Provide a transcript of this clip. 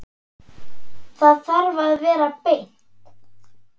Það þarf að vera beint.